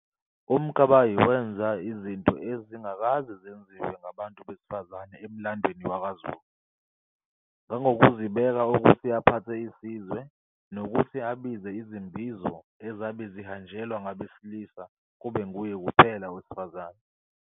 UMkabayi wanza izinto ezingakazi zenzuwe ngobantu besifazane emlandweni wakwaZulu ngongokuzibeka ukuthi aphathe isizwe, nokuthi abize izimbizo ezabe zihanjelwa ngabesilisa kube nguye kuphela owasifazane.